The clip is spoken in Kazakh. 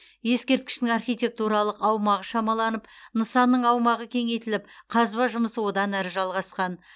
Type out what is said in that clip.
ескерткіштің архитектуралық аумағы шамаланып нысанның аумағы кеңейтіліп қазба жұмысы одан әрі жалғасқан